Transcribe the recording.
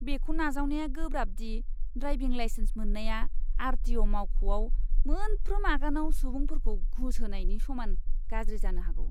बेखौ नाजावनाया गोब्राब दि ड्राइभिं लाइसेन्स मोन्नाया आर.टि.अ'. मावख'आव मोनफ्रोम आगानाव सुबुंफोरखौ घुस होनायनि समान गाज्रि जानो हागौ!